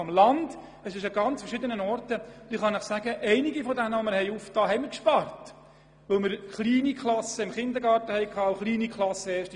Vielmehr handelt es sich um ganz unterschiedliche Orte, und bei einigen Basisstufen, die wir eröffnet haben, konnten wir sparen, weil es kleine Klassen sowohl im Kindergarten wie auch in der 1. und 2. Klasse gab.